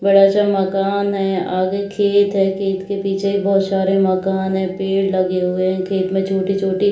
बड़ा-सा मकान है आगे खेत है खेत के पीछे बहुत सारे मकान है पेड़ लगे हुए है खेत मे छोटी-छोटी।